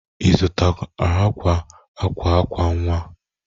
Ị zụtara akwa akwa akwa nwa?